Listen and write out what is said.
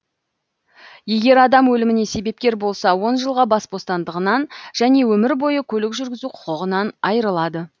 егер адам өліміне себепкер болса он жылға бас бостандығынан және өмір бойы көлік жүргізу құқығынан айырылады